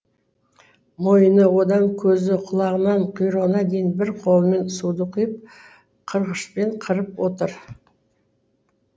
мойны одан көзі құлағынан құйрығына дейін бір қолымен суды құйып қырғышпен қырып отыр